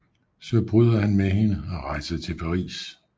Så han bryder med hende og rejser til Paris